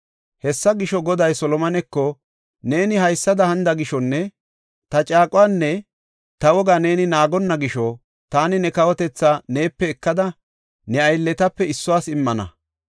Hessa gisho, Goday Solomoneko, “Neeni haysada hanida gishonne ta caaquwanne ta wogaa ne naagonna gisho taani ne kawotetha neepe ekada ne aylletape issuwas immana.